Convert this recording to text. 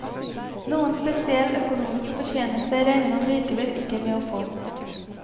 Noen spesiell økonomisk fortjeneste regner han likevel ikke med å få.